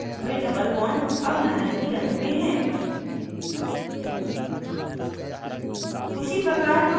cholesterol model में doublebond double नारंगी रंग में है